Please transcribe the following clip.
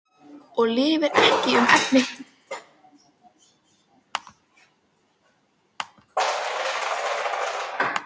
Og lifir ekki um efni fram?